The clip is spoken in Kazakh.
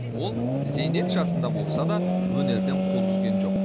ол зейнет жасында болса да өнерден қол үзген жоқ